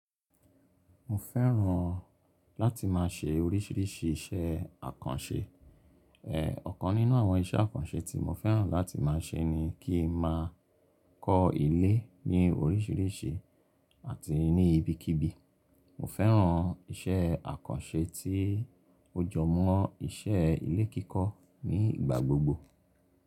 Mo fẹ́ràn láti máa ṣe oríṣìíríṣìí iṣẹ́ àkànṣe. Ẹ̀ ọ̀kan nínú àwọn iṣẹ́ àkànṣe tí mo fẹ́ràn láti máa ṣe ni kí n máa kọ́ ilé ní oríṣìíríṣìí àti ní ibikíbi. Mo fẹ́ràn iṣẹ́ àkànṣe tí ó jọ mọ́ iṣẹ́ ilé kíkọ́ ní ìgbà gbogbo.